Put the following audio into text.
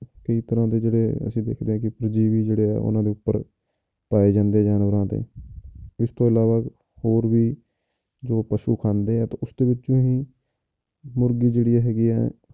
ਕਈ ਤਰ੍ਹਾਂ ਦੇ ਜਿਹੜੇ ਅਸੀਂ ਦੇਖਦੇ ਹਾਂ ਕਿ ਪਰਜੀਵੀ ਜਿਹੜੇ ਆ ਉਹਨਾਂ ਦੇ ਉੱਪਰ ਪਾਏ ਜਾਂਦੇ ਆ ਜਾਨਵਰਾਂ ਤੇ ਇਸ ਤੋਂ ਇਲਾਵਾ ਹੋਰ ਵੀ ਜੋ ਪਸੂ ਖਾਂਦੇ ਆ ਉਸਦੇ ਵਿੱਚੋਂ ਹੀ ਮੁਰਗੀ ਜਿਹੜੀ ਹੈਗੀਆਂ